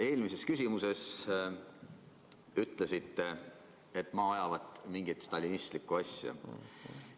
Eelmises vastuses mulle ütlesite, et ma ajavat mingit stalinistlikku asja.